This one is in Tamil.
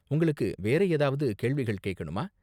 உங்களுக்கு வேற ஏதாவது கேள்விகள் கேக்கணுமா?